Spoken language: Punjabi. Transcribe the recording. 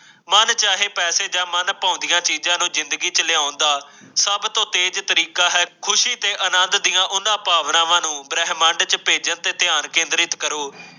ਮੰਨ ਚਾਹੇ ਪੈਸੇ ਜਾ ਮਨਪਾਉਂਦੀਆਂ ਚੀਜ਼ਾਂ ਨੂੰ ਜਿੰਦਗੀ ਚ ਲਿਆਉਣ ਦਾ ਸਭ ਤੋਂ ਤੇਜ ਤਰੀਕਾ ਹੈ ਖੁਸ਼ੀ ਤੇ ਆਨੰਦ ਦੀਆ ਓਹਨਾ ਭਾਵਨਾਵਾਂ ਨੂੰ ਬ੍ਰਹਮੰਡ ਤੇ ਭੇਜਣ ਤੇ ਧਿਆਨ ਕੇਂਦਰਿਤ ਕਰੋ।